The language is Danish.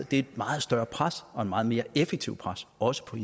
det er et meget større pres og et meget mere effektivt pres også på